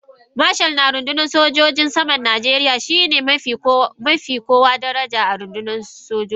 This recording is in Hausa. Marshal na rundunar sojin saman Najeriya shi ne ya fi kowa daraja a rundunar sojin sama.